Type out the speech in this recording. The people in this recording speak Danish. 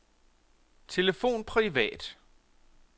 telefon privat